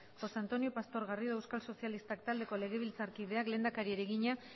josé antonio pastor garrido euskal sozialistak taldeko legebiltzarkideak lehendakariari egina